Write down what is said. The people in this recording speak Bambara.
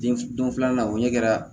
Den don filanan o ɲɛ kɛra